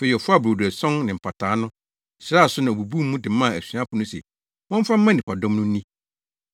Afei ɔfaa brodo ason no ne mpataa no, hyiraa so na obubuu mu de maa asuafo no se wɔmfa mma nnipadɔm no nni.